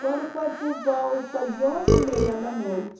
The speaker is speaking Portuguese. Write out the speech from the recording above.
Quando foi por volta de onze e meia da noite,